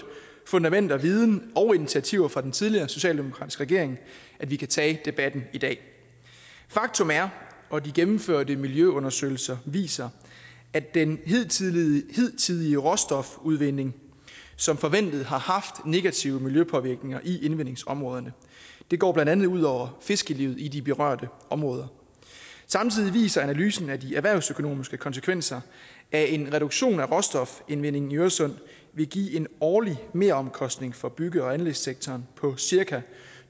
fundament af viden og initiativer fra den tidligere socialdemokratiske regering at vi kan tage debatten i dag faktum er og de gennemførte miljøundersøgelser viser at den hidtidige hidtidige råstofudvinding som forventet har haft negative miljøpåvirkninger i indvindingsområderne det går blandt andet ud over fiskelivet i de berørte områder samtidig viser analysen at de erhvervsøkonomiske konsekvenser af en reduktion af råstofindvindingen i øresund vil give en årlig meromkostning for bygge og anlægssektoren på cirka